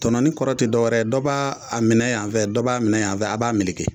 Tɔnɔni kɔrɔ te dɔwɛrɛ ye dɔ b'a a minɛ yanfɛ dɔ' b'a minɛ yanfɛ a b'a meleke